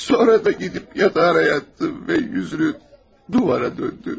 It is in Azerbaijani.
Sonra da gedib yatağa yatdı və üzünü duvara döndü.